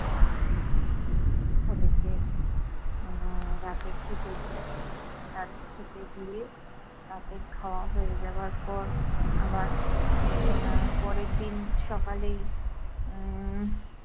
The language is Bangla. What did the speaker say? ওদেরকে আহ রাতে খেতে দিই। রাতে খেতে দিয়ে, রাতে খাওয়া হয়ে যাবার পর আবার আহ পরের দিন সকালেই আহ